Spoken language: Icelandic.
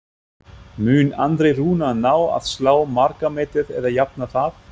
Mun Andri Rúnar ná að slá markametið eða jafna það?